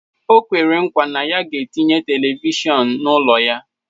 O kwere nkwa na ya ga-etinye televishọnu n'ụlọ ya.